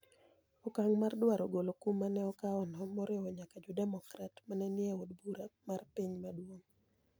Okang mar duaro golo kum no' mane okawono, moriwo nyaka Jo Democrat mane niye Od Bura mar Piny maduong.